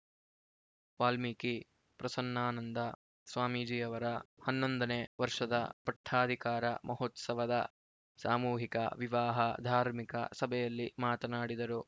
ವಾಲ್ಮೀಕಿ ಪ್ರಸನ್ನಾನಂದ ಸ್ವಾಮೀಜಿಯವರ ಹನ್ನೊಂದು ನೇ ವರ್ಷದ ಪಟ್ಟಾಧಿಕಾರ ಮಹೋತ್ಸವದ ಸಾಮೂಹಿಕ ವಿವಾಹ ಧಾರ್ಮಿಕ ಸಭೆಯಲ್ಲಿ ಮಾತನಾಡಿದರು